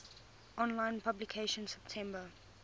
online publication september